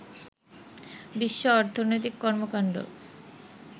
বিশ্ব অর্থনৈতিক কর্মকাণ্ড